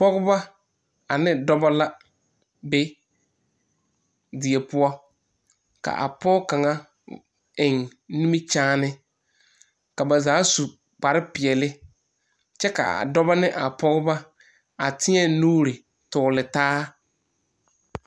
Pɔgba ane dɔba la be die pʋɔ ka a pɔge kaŋa eŋ nimikyaane kyɛ ka ba zaa su kparepeɛle. Ba teɛ la nuure tɔgle taa.